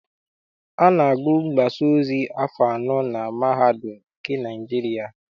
A na-agụ mgbasaozi afọ anọ na mahadum nke Naịjirịa.